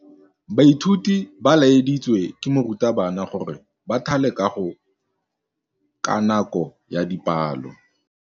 Baithuti ba laeditswe ke morutabana gore ba thale kagô ka nako ya dipalô.